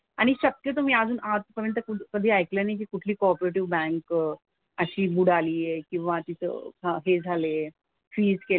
आणि शक्यतो मी अजून आजपर्यंत कधी ऐकलं नाही की कुठली कॉपरेटिव्ह बँक अशी बुडाली आहे. किंवा तिथं हां हे झालेय. फ्रीझ केलंय.